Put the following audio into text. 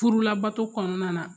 Furu labato kɔnɔna na